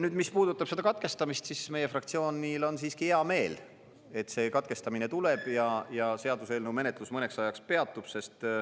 Nüüd, mis puudutab seda katkestamist, siis meie fraktsioonil on hea meel, et see katkestamine tuleb ja seaduseelnõu menetlus mõneks ajaks peatub.